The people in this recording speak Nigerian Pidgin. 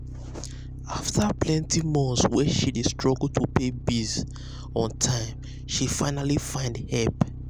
after plenty months way she dey struggle to pay bills on um time she finally find help.